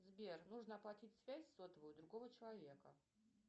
сбер нужно оплатить связь сотовую другого человека